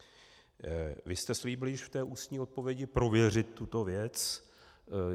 Vy jste slíbil již v té ústní odpovědi prověřit tuto věc.